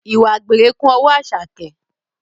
Ìwà àgbèrè kún ọwọ́ Àṣàkẹ́